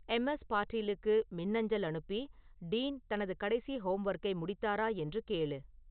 MS பாட்டீலுக்கு மின்னஞ்சல் அனுப்பி டீன் தனது கடைசி ஹோம்வொர்க்கை முடித்தாரா என்று கேளு